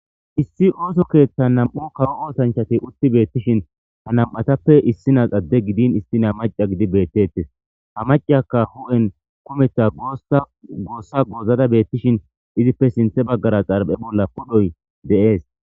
Issi ooso keeththa nam7u kawo oosanchati utti beettishin ha nam7atappe issinas adde gidin istina maca gidi beettettes ha macayakka hu7en kumetha goossa goossa goozada beettishin izippe sinthe baggara xarbe bolla podhoy de7ees.